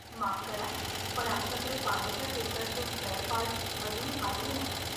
माफ करा पण आमच्याकडे पाण्याच्या फिल्टरचे स्पेअरपार्ट अजून आलेले नाहीत.